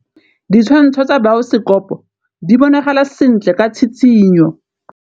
Ditshwantshô tsa biosekopo di bonagala sentle ka tshitshinyô.